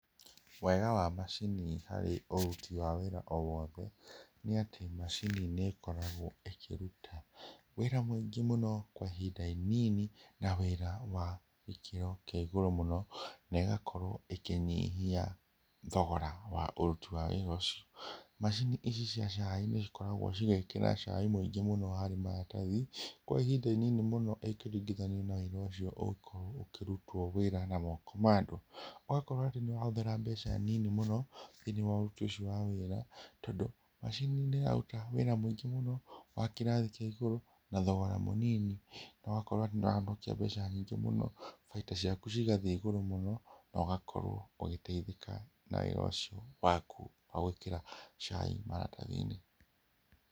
Wega wa macini harĩ ũruti wa wĩra o wothe nĩ atĩ macini nĩ ĩkoragwo ĩkĩruta wĩra mũingĩ mũno kwa ihinda inĩnĩ na wĩra wa gĩkĩro kĩa igũrũ mũno, na ĩgakorwo ĩkĩnyihia thogora wa ũruti wa wĩra ũcio. Macini ici cia cai nĩcikoragwo cigĩkĩra cai mũingĩ mũno harĩ maratathi kwa ihinda inĩnĩ mũno ĩkĩringithanio na wĩra ũcio ũgĩkorwo ũkĩrutwo wĩra na moko ma andũ. Ũgakorwo atĩ nĩ ũrahũthĩra mbeca nini mũno thĩiniĩ wa ũruti ũcio wa wĩra, tondũ macini nĩ ĩraruta wĩra mũingĩ mũno wa kĩrathi kĩa igũrũ, na thogora mũnini na ũgakorwo nĩ ũrahonokia mbeca nyingĩ mũno, baita ciaku cigathĩĩ igũrũ mũno, na ũgakorwo ũgĩteithĩka na wĩra ũcio waku wa gwĩkĩra cai maratathi-inĩ.